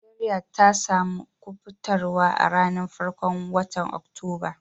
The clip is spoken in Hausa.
Nijeriya ta samu kubatarswa a'ranan farkon wotan Oktoba.